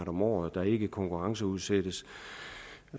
om året der ikke konkurrenceudsættes